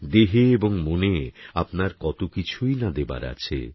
দেহে এবং মনে আপনার কত কিছুই না দেবার আছে